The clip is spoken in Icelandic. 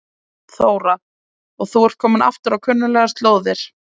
Þóra: Og þú ert kominn aftur á kunnuglegar slóðir?